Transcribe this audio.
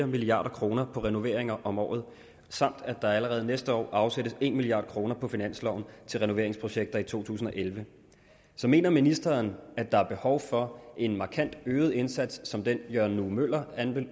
milliard kroner på renoveringer om året samt at der allerede næste år afsættes en milliard kroner på finansloven til renoveringsprojekter i to tusind og elleve så mener ministeren at der er behov for en markant øget indsats som den jørgen nue møller